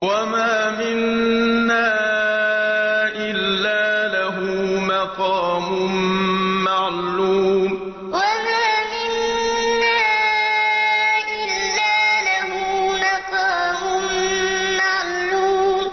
وَمَا مِنَّا إِلَّا لَهُ مَقَامٌ مَّعْلُومٌ وَمَا مِنَّا إِلَّا لَهُ مَقَامٌ مَّعْلُومٌ